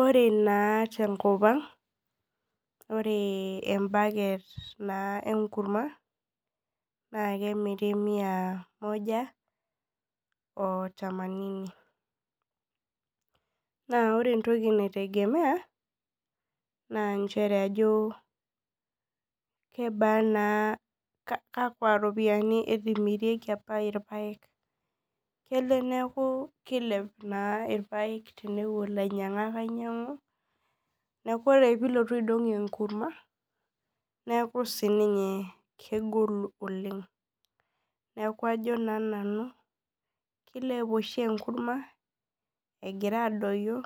Ore na tenkopang ore embaket enkurma na kemiri mia moja otamanini na ore entoki naitegemea na kakwa ropiyani etumirieki apa irpaek kelo neaku neaku kilep na irpaek tenepuo lainyangak ainyangu neaku ore pilotu aidong enkurma neaku kegolu oleng kilep oshi enkurma egira adoyio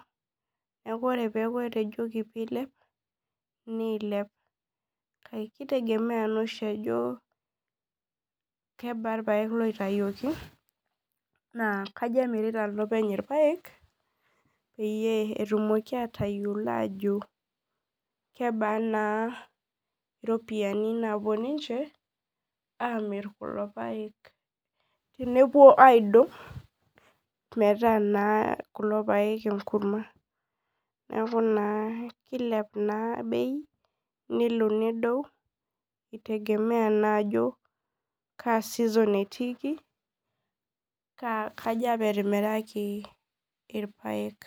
neaku ore eneji kilep nilep kitegemea naoshi ajo kebaa irpaek oitawuoki nakaja emirita olopeny irpaek idipa atayiolo ajo kebaa ropiyani napuo ninche amir kulo paek tenepuo aidong metaa na kulo paek enkurma neaku kilep na bei itegemea ajo ka season etiiki kaaja apa etimiraki irpaek.